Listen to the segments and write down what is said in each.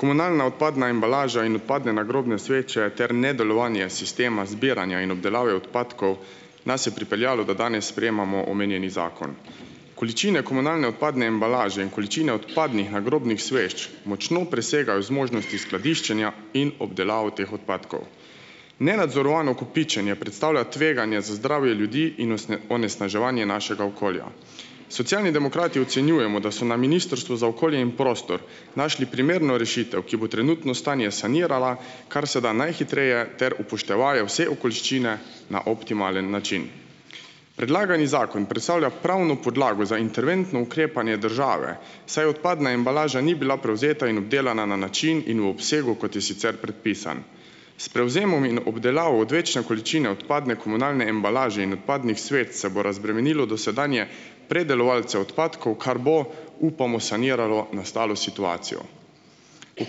Komunalna odpadna embalaža in odpadne nagrobne sveče ter nedelovanje sistema zbiranja in obdelave odpadkov nas je pripeljalo, da danes sprejemamo omenjeni zakon. Količine komunalne odpadne embalaže in količine odpadnih nagrobnih sveč močno presegajo zmožnosti skladiščenja in obdelav teh odpadkov. Nenadzorovano kopičenje predstavlja tveganje za zdravje ljudi in onesnaževanje našega okolja. Socialni demokrati ocenjujemo, da so na Ministrstvu za okolje in prostor našli primerno rešitev, ki bo trenutno stanje sanirala kar se da najhitreje ter upoštevaje vse okoliščine na optimalen način. Predlagani zakon predstavlja pravno podlago za interventno ukrepanje države, saj odpadna embalaža ni bila prevzeta in obdelana na način in v obsegu, kot je sicer predpisan. S prevzemom in obdelavo odvečne količine odpadne komunalne embalaže in odpadnih sveč, se bo razbremenilo dosedanje predelovalce odpadkov, kar bo, upamo, saniralo nastalo situacijo. V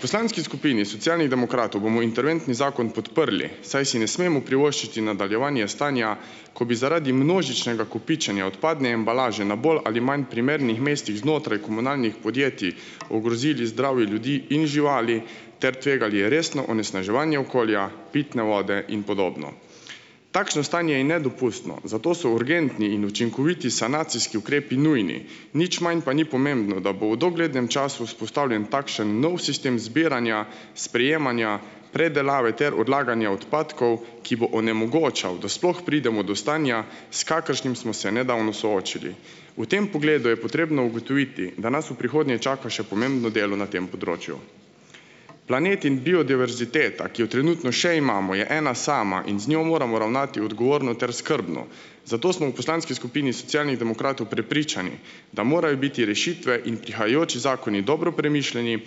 poslanski skupini Socialnih demokratov bomo interventni zakon podprli, saj si ne smemo privoščiti nadaljevanje stanja, ko bi zaradi množičnega kopičenja odpadne embalaže na bolj ali manj primernih mestih znotraj komunalnih podjetij, ogrozili zdravje ljudi in živali ter tvegali resno onesnaževanje okolja, pitne vode in podobno. Takšno stanje je nedopustno, zato so urgentni in učinkoviti sanacijski ukrepi nujni. Nič manj pa ni pomembno, da bo v doglednem času vzpostavljen takšen nov sistem zbiranja, sprejemanja, predelave ter odlaganja odpadkov, ki bo onemogočal, da sploh pridemo do stanja, s kakršnim smo se nedavno soočili. V tem pogledu je potrebno ugotoviti, da nas v prihodnje čaka še pomembno delo na tem področju. Planet in biodiverziteta, ki jo trenutno še imamo, je ena sama in z njo moramo ravnati odgovorno ter skrbno, zato smo v poslanski skupini Socialnih demokratov prepričani, da morajo biti rešitve in prihajajoči zakoni dobro premišljeni,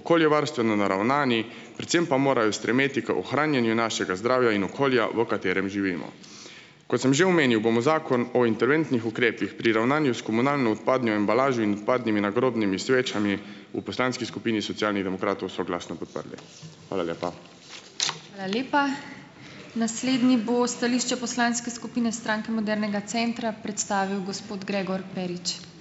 okoljevarstveno naravnani, predvsem pa morajo stremeti k ohranjanju našega zdravja in okolja, v katerem živimo. Kot sem že omenil, bomo Zakon o interventnih ukrepih pri ravnanju s komunalno odpadnjo embalažo in odpadnimi nagrobnimi svečami , v poslanski skupini Socialnih demokratov soglasno podprli. Hvala lepa.